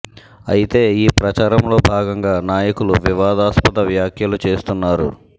అయితే ఈ ప్రచారంలో భాగంగా నాయకులు వివాదాస్పద వ్యాఖ్యలు చేస్తున్నారు